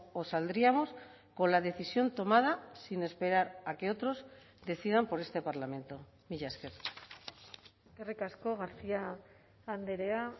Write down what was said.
o saldríamos con la decisión tomada sin esperar a que otros decidan por este parlamento mila esker eskerrik asko garcía andrea